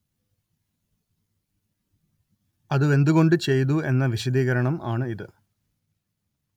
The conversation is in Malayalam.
അതു എന്തു കൊണ്ട് ചെയ്തു എന്ന വിശദീകരണം ആണ്‌ ഇത്